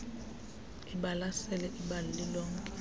ibalasele ibali lilonke